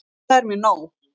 Það er mér nóg.